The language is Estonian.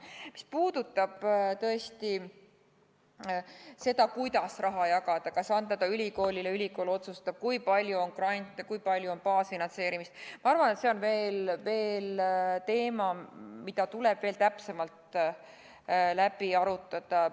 Mis puudutab seda, kuidas raha jagada, kas anda ta ülikoolile, nii et ülikool otsustab, kui palju on grante ja kui palju on baasfinantseerimist, siis ma arvan, et see on teema, mida tuleb veel täpsemalt läbi arutada.